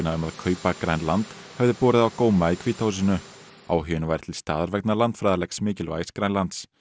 um að kaupa Grænland hefði borið á góma í hvíta húsinu áhuginn væri til staðar vegna landfræðilegs mikilvægis Grænlands